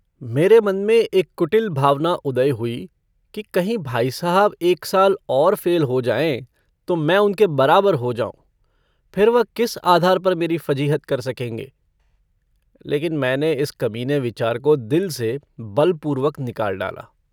मेरे मन में एक कुटिल भावना उदय हुई कि कहीं भाई साहब एक साल और फ़ेल हो जाएँ तो मैं उनके बराबर हो जाऊँ। फिर वह किस आधार पर मेरी फ़जीहत कर सकेंगे। लेकिन मैने इस कमीने विचार को दिल से बलपूर्वक निकाल डाला।